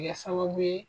Kɛ sababu ye